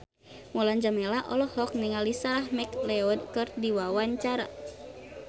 Mulan Jameela olohok ningali Sarah McLeod keur diwawancara